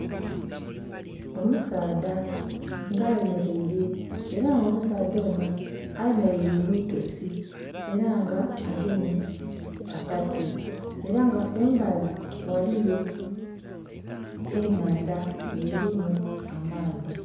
Omusaadha nga ayemeleire ela nga omusaadha ono ayemeleire mu itosi ela nga agemye akati ela nga kumbali ghaliyo ennhandha nga elimu amaadhi.